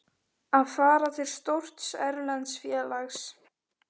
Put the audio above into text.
Að fara til stórs erlends félags?